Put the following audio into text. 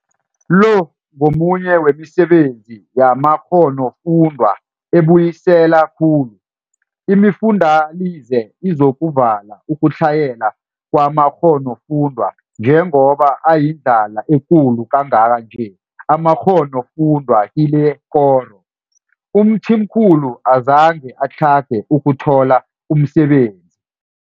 Lo ngomunye wemisebenzi yamakghonofundwa ebuyisela khulu. Imifundalize Izokuvala Ukutlhayela Kwamakghonofundwa Njengoba ayindlala ekulu kangaka nje amakghonofundwa kilekoro, uMthimkhulu azange atlhage ukuthola umsebenzi.